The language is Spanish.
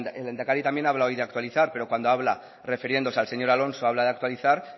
el lehendakari también habla hoy de actualizar pero cuando habla refiriéndose al señor alonso habla de actualizar